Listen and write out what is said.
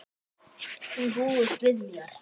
Hún búist við mér.